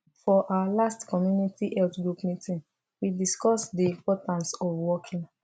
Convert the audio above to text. for our last community health group meeting we discuss the importance of walking